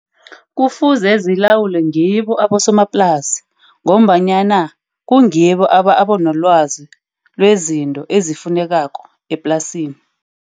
Kufuze zilawulwe ngibo abosomaplasi, ngombanyana kungibo abanelwazi lezinto ezifunekako eplasini.